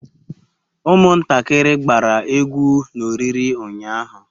Umuntakiri gbara egwu na oriri unyahu